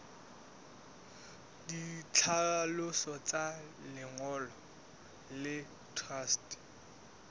ditlhaloso tsa lengolo la truste